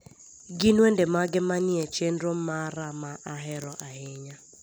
gin wende mage manie chenro mara ma ahero ahinya